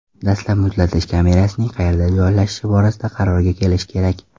Dastlab muzlatish kamerasining qayerda joylashishi borasida qarorga kelish kerak.